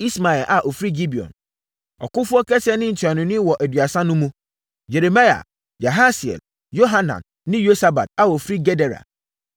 Ismaia a ɔfiri Gibeon, ɔkofoɔ kɛseɛ ne ntuanoni wɔ Aduasa no mu; Yeremia, Yahasiel, Yohanan ne Yosabad a wɔfiri Gedera;